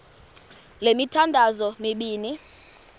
le mithandazo mibini